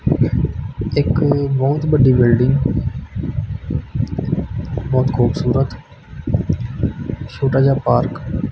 ਇੱਕ ਬਹੁਤ ਬੱਡੀ ਬਿਲਡਿੰਗ ਬਹੁਤ ਖੂਬਸੂਰਤ ਛੋਟਾ ਜਿਹਾ ਪਾਰਕ --